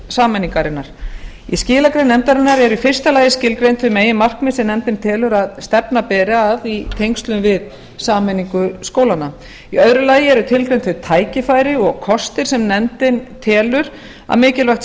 sameiningarinnar í skilagrein nefndarinnareru í fyrsta lagi skilgreind þau meginmarkmið sem nefndin telur að stefna beri að í tengslum við sameiningu skólanna í öðru lagi eru tilgreind þau tækifæri og kostir sem nefndin telur að mikilvægt sé